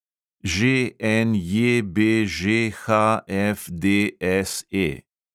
ŽNJBŽHFDSE